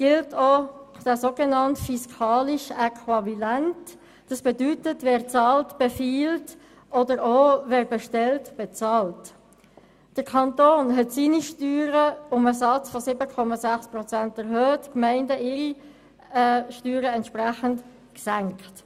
Der Kanton hat seine Steuern um den Satz von 7,6 Prozent erhöht, und die Gemeinden haben ihre Steuern entsprechend gesenkt.